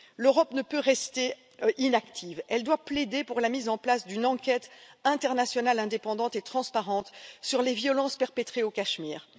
L'Europe ne peut rester inactive, elle doit plaider pour la mise en place d'une enquête internationale indépendante et transparente sur les violences perpétrées au Cachemire.